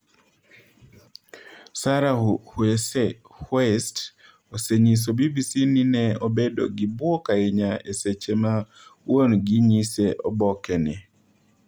Sarah Huiest osenyiso BBC ni ne obedo gi bwok ahinya e seche ma wuon gi nyise oboke ni.